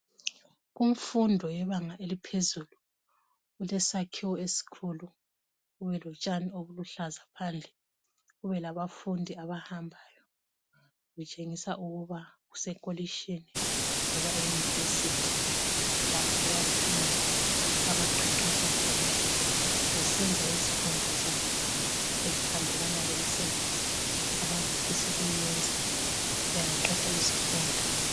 Kumfundo yebanga eliphezulu kulesakhiwo esikhulu, kube lotshani obuluhlaza phandle, kube labafundi abahambayo. Kutshengisa ukuba kusekolitshini loba eyunivesithi lapho abafundi abaqeqetsha khona besenza izifundo zabo ezihambelana lemisebenzi abazafisukuyenza bengaqeda izifundo.